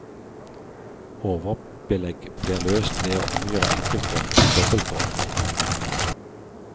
Overbelegg blir løst ved å omgjøre enkeltrom til dobbeltrom.